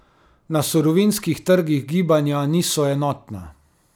Na surovinskih trgih gibanja niso enotna.